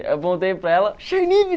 Eu voltei para ela,